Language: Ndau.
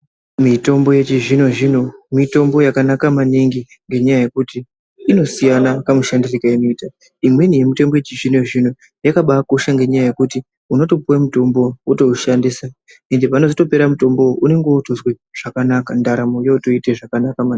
Mitombo yechizvino zvino mitombo yakanaka maningi ngenyaa yekuti inosiyana kamushandiro kainoita. Imweni mitombo yechizvino zvino yakabakosha ngenyaya yekuti unotopuwe mutombo wotowushandisa ende panozotopera mutombo uwu unenge wotozwe zvakanaka ndaramo yotoite zvakanaka maningi.